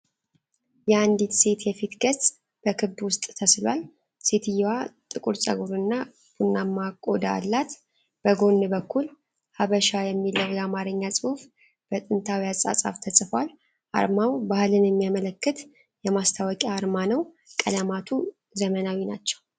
የአንድ ሴት የፊት ገጽ በክብ ውስጥ ተስሏል። ሴትዮዋ ጥቁር ፀጉርና ቡናማ ቆዳ አላት። በጎን በኩል 'ሐበሻ' የሚለው የአማርኛ ጽሑፍ በጥንታዊ አጻጻፍ ተጽፏል። አርማው ባህልን የሚያመለክት የማስታወቂያ አርማ ነው። ቀለማቱ ዘመናዊ ናቸው።